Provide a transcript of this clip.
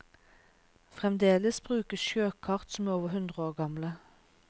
Fremdeles brukes sjøkart som er over hundre år gamle.